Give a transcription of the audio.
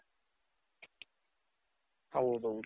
ದುಡ್ಡ್ ತಿನ್ನಕಂತ ಕೆಲವರ್ ಇರ್ತಾರೆ.